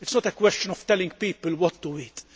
It is not a question of telling people what to eat.